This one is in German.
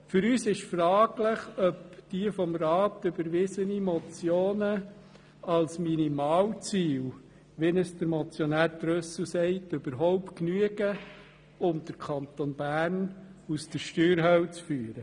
Für uns ist fraglich, ob die vom Rat überwiesenen Motionen als Minimalziel, wie Motionär Trüssel sagt, überhaupt genügen, um den Kanton Bern aus der Steuerhölle zu führen.